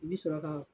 I bɛ sɔrɔ ka